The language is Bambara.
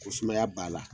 Ko sumaya b'a la